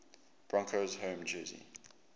broncos home jersey